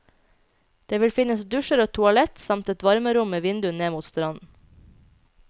Det vil finnes dusjer og toalett, samt et varmerom med vindu ned mot stranden.